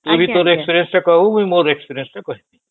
ତୁ ଭି ତୋର experience ଟା କହିବୁ ଆଉ ମୁ ମୋର experience ଟା କହିବି